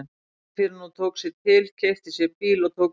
Ekki fyrr en hún tók sig til, keypti sér bíl og tók bílpróf.